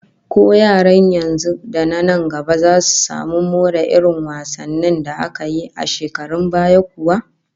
Ko yaran yanzu da na nan gaba zasu samu more irin wasannin da aka yi a shekarun baya kuwa?